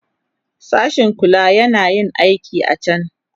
Sashin kulawa yana yin aikin a can.